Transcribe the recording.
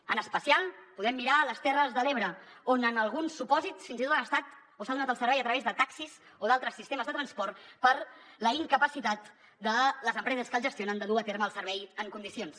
en especial podem mirar les terres de l’ebre on en alguns supòsits fins i tot han estat o s’ha donat el servei a través de taxis o d’altres sistemes de transport per la incapacitat de les empreses que els gestionen de dur a terme el servei en condicions